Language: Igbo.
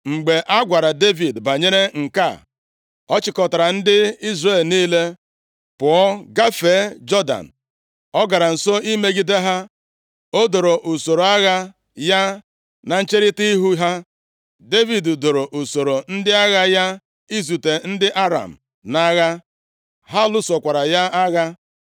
Mgbe a gwara Devid banyere nke a, ọ chịkọtara ndị Izrel niile, pụọ gafee Jọdan. O gara nso imegide ha, o doro usoro agha ya na ncherita ihu ha. Devid doro usoro ndị agha ya izute ndị Aram nʼagha, ha lụsokwara ya agha.